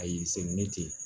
A y'i se n'i ye ten ten